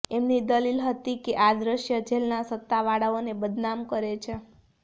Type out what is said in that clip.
એમની દલીલ હતી કે આ દ્રશ્ય જેલના સત્તાવાળાઓને બદનામ કરે છે